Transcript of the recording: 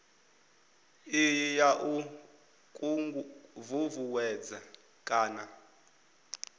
iyi ya u ṱuṱuwedza kana